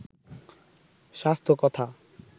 স্বাস্থ্য কথা